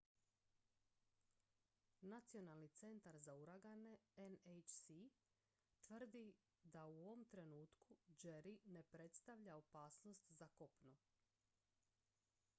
nacionalni centar za uragane nhc tvrdi da u ovom trenutku jerry ne predstavlja opasnost za kopno